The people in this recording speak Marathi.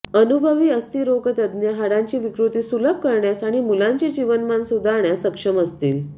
अनुभवी अस्थिरोगतज्ञ हाडांची विकृती सुलभ करण्यास आणि मुलांचे जीवनमान सुधारण्यास सक्षम असतील